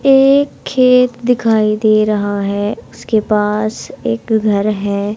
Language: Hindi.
एक खेत दिखाई दे रहा है उसके पास एक घर है।